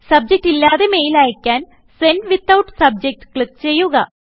subject ഇല്ലാതെ mail അയ്ക്കാൻ send without subject click ചെയ്യുക